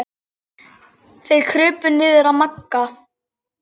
Þeir krupu niður að Magga.